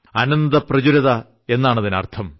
അനന്തപ്രചുരത എന്നാണതിനർത്ഥം